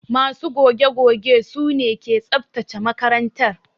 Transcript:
Ma su goge goge su ne ke tsabtace makarantar.